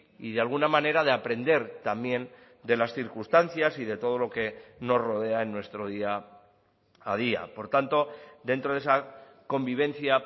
y de alguna manera de aprender también de las circunstancias y de todo lo que nos rodea en nuestro día a día por tanto dentro de esa convivencia